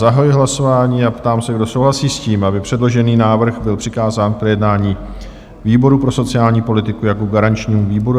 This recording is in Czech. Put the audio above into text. Zahajuji hlasování a ptám se, kdo souhlasí s tím, aby předložený návrh byl přikázán k projednání výboru pro sociální politiku jako garančnímu výboru?